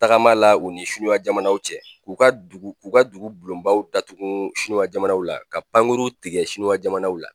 Tagama la u ni sinuwa jamanaw cɛ k'u ka dugu k'u ka dugu bulonbaw datugun sinuwa jamanaw la ka pankuru tigɛ sinuwa jamanaw la.